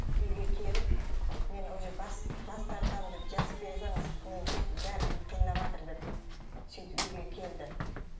үйге келіп мен уже бас тартамын деп жазып бере салыңыз мен бәрі бүйтіп қинаватыр деп сөйтіп үйге келді